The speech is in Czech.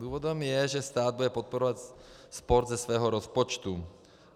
Důvodem je, že stát bude podporovat sport ze svého rozpočtu.